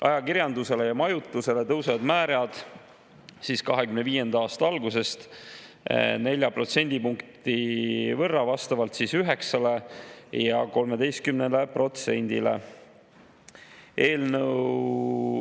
Ajakirjandusele ja majutusele tõusevad määrad 2025. aasta algusest 4 protsendipunkti võrra vastavalt 9%‑le ja 13%‑le.